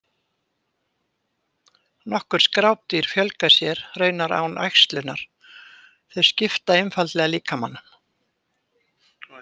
Nokkur skrápdýr fjölga sér raunar án æxlunar, þau skipta einfaldlega líkamanum.